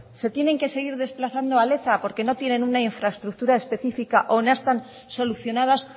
se tienen que seguir desplazando a leza porque no tienen una infraestructura específica o no están solucionadas